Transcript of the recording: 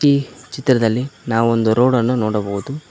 ಈ ಚಿತ್ರದಲ್ಲಿ ನಾವು ಒಂದು ರೋಡ್ ಅನ್ನು ನೋಡಬಹುದು.